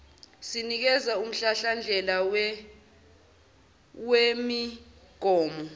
sinikeza umhlahlandlela wemigomo